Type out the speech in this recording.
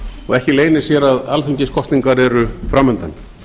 og ekki leynir sér að alþingiskosningar eru fram undan